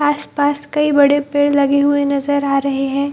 आसपास कई बड़े पेड़ लगे हुए नजर आ रहें हैं।